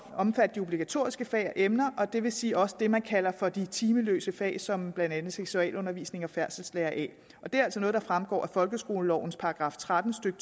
omfatte de obligatoriske fag og emner og det vil sige også det som man kalder for de timeløse fag som blandt andet seksualundervisning og færdselslære a og det er altså noget der fremgår af folkeskolelovens § tretten stykke